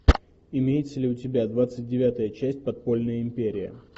имеется ли у тебя двадцать девятая часть подпольная империя